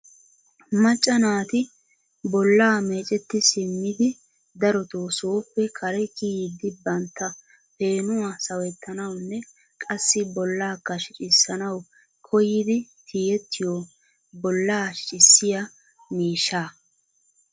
macca nati bolla meecceti simmidi darotoo sooppe kare kiyyidi bantta peenuwaa sawettanawunne qassi bollakka shiiccisanaw koyyidi tiyyeettiyo bolla shiccissiyaa miishshaa.